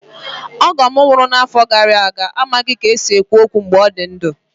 Ọgọ m nwụrụ n'afọ gara aga amaghị ka e si ekwu okwu mgbe ọ dị ndụ.